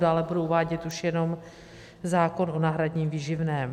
Dále budu uvádět už jenom zákon o náhradním výživném.